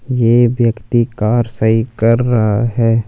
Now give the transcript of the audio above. ये व्यक्ति कार सही कर रहा है।